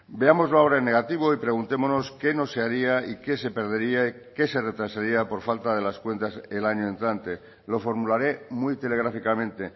veámoslo ahora en negativo y preguntémonos qué no se haría que se perdería y qué se retrasaría por falta de las cuentas el año entrante lo formularé muy telegráficamente